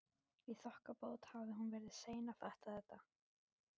Í þokkabót hafði hún verið sein að fatta þetta.